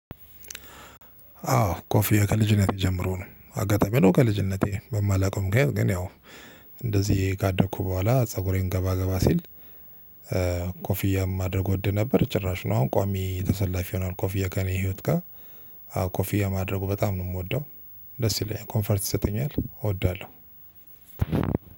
አዎ ኮፍያ ከልጅነቴ ጀምሮ ነው አጋጣሚ ነው ከልጅነቴ በማላውቀው ምክንያቱም ግን ያው እንደዚህ ካደኩ በኋላ ፀጉሬን ገባ ገባ ሲል ኮፍያ ማድረግ እወድ ነበር። ጭራሹን አሁን ቋሚ ተሰላፊ ሁኗል ኮፍያ ከኔ ህይወት ጋር። አወ ኮፍያ ማድረግ በጣም ነው የምወደው ደስ ይለኛል ኮንፎርት ይሰጠኛል። እወዳለሁ